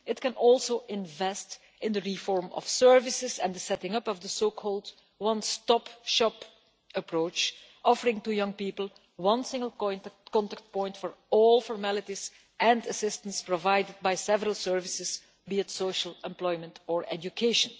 It can also invest in the reform of services and the setting up of the so called one stop shop approach, offering young people a single contact point for all formalities and assistance provided by several services social, employment or education.